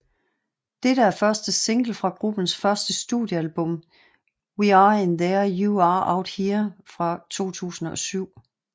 Det er første single fra gruppens første studiealbum We Are In There You Are Out Here fra 2007